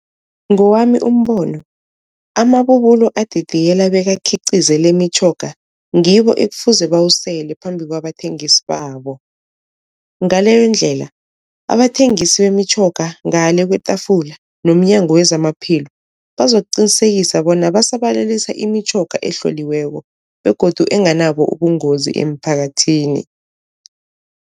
Ngowami umbono amabubulo adidiyela bekakhiqize lemitjhoga ngibo ekufuze bawusele phambi kwabathengisi babo, ngaleyondlela abathengisi bemitjhoga ngale kwetafula nomnyango wezamaPhilo, bazokuqinisekisa bona basabalalisa imitjhoga ehloliweko begodu enganabo ubungozi emphakathini.